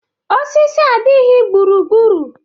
Osisi adịghị gburugburu.